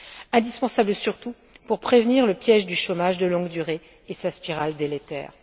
Indispensable, surtout, pour prévenir le piège du chômage de longue durée et sa spirale délétère.